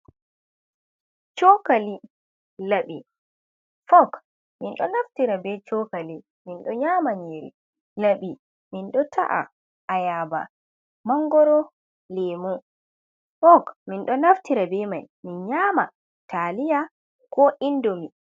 Cookali, laɓi, folk. Min ɗo naftira bee cookali min ɗo nyaama nyiiri. Laɓi min ɗo ta’a ayaaba, mangoro, leemu. Folk min ɗo naftira bee may min nyaama taaliya koo indomi.